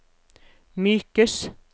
mykes